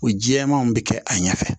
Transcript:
O jɛmanw bɛ kɛ a ɲɛfɛ